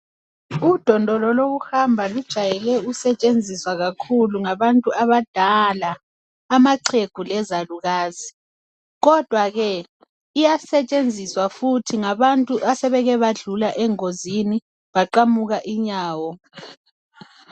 Udondolo lokuhamba lujayele ukusetshenziswa kakhu ngabantu abadala amaxhwegu lezalukazi kodwa kee iyasetshenziswa futhi ngabantu abasebeke bandlula engonzini baqamuka inyawo.